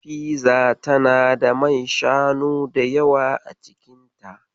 Fiza tana da man shanu da yawa a cikinta.